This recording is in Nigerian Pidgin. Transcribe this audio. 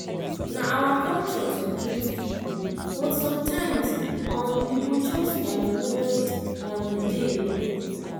na our culture to greet pipo but sometimes um you go just um wan um dey alone